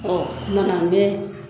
kumana n bɛ